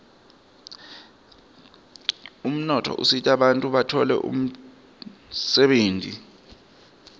umnotfo usita bantfu batfole umdebenti